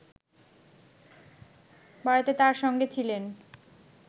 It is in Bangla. বাড়িতে তার সঙ্গে ছিলেন